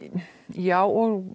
já og